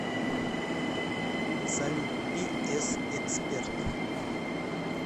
салют пи эс эксперт